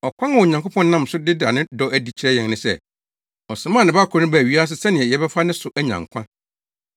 Ɔkwan a Onyankopɔn nam so da ne dɔ adi kyerɛ yɛn ne sɛ, ɔsomaa ne Ba koro no baa wiase sɛnea yɛbɛfa ne so anya nkwa.